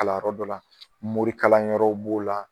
Kalan yɔrɔ dɔ la morikalan yɔrɔw b'o la.